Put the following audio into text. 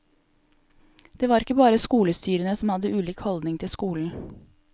Det var ikke bare skolestyrene som hadde ulik holdning til skolen.